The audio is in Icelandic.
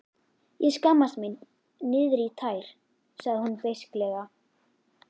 Ég skammast mín niðrí tær, sagði hún beisklega.